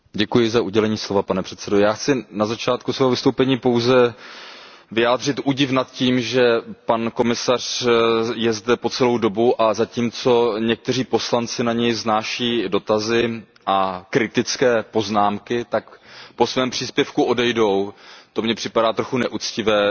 Pane předsedající, já chci na začátku svého vystoupení pouze vyjádřit údiv nad tím, že pan komisař je zde po celou dobu, a zatímco někteří poslanci na něj vznáší dotazy a kritické poznámky a pak po svém příspěvku odejdou. To mně připadá trochu neuctivé, že ani